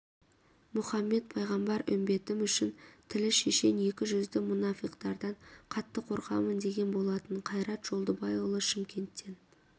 мұхаммед пайғамбар үмбетім үшін тілі шешен екі жүзді мұнафиқтардан қатты қорқамын деген болатын қайрат жолдыбайұлы шымкенттен